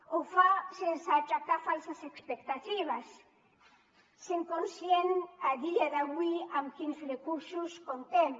ho fa sense aixecar falses expectatives sent conscient a dia d’avui amb quins recursos comptem